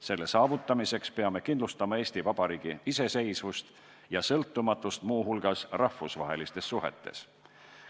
Selle saavutamiseks peame kindlustama Eesti Vabariigi iseseisvust ja sõltumatust muu hulgas rahvusvahelistes suhetes.